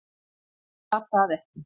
Því var það ekki